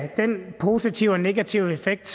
den positive og den negative effekt